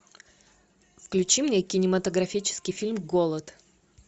включи мне кинематографический фильм голод